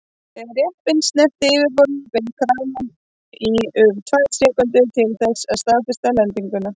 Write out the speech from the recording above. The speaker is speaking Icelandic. Þegar jeppinn snerti yfirborðið beið kraninn í um tvær sekúndur til þess að staðfesta lendinguna.